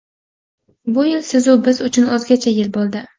Bu yil siz-u biz uchun o‘zgacha yil bo‘ldi.